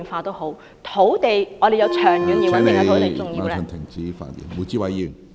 我們都要有長遠而穩定的土地......